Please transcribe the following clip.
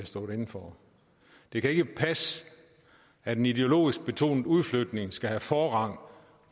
stå inde for det kan ikke passe at en ideologisk betonet udflytning skal have forrang